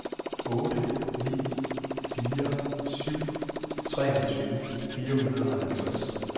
otte ni fire syv treogtyve fire hundrede og halvtreds